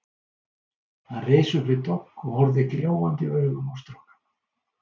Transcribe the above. Hann reis upp við dogg og horfði gljáandi augum á strákana.